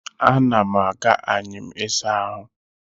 Ana m aga anyịm ịsa ahụ